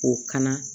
K'o kan